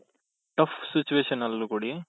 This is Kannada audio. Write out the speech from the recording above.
tough situation ಅಲ್ಲೂ ಕೊಡಿ